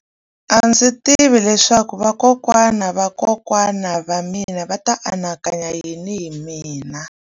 A ndzi tivi leswaku vakokwana-va-vakokwana va mina a va ta anakanya yini hi mina.